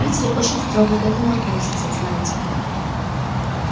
в питере очень строго к этому относятся знаете ли